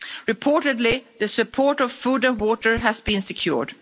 Reportedly, the support of food and water has been secured.